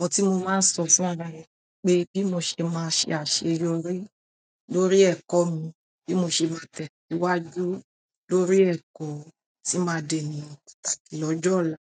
ohùn tí mo máa ń sọ fún ara rẹ̀ pé bí mo ṣe máa ṣe àṣeyọrí lórí ẹ̀kọ́ mi, bí mo ṣe máa tẹ̀ síwájú lórí ẹ̀kọ́ tí máa dé ènìyàn lọ́jọ́ ọ̀la.